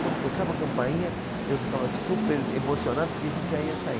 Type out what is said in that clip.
Quando tocava a campainha, eu ficava super emocionado porque a gente já ia sair.